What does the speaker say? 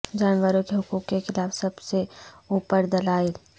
جانوروں کے حقوق کے خلاف سب سے اوپر دلائل